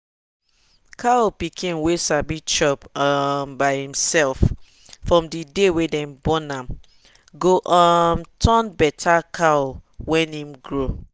cow pikin wey sabi chop um by em self from the day wey them born am go um turn better cow when em grow.